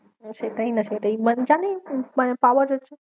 ও সেটাই না সেটাই মানে জানি মানে পাওয়া যাচ্ছে।